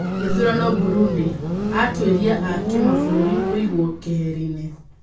Gĩthurano Burundi. Atwĩria a kimabũrũri kũigwo keheri-nĩ.